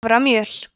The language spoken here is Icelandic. haframjöl